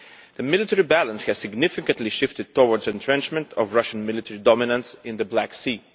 The military balance has significantly shifted towards entrenchment of Russian military dominance in the Black Sea.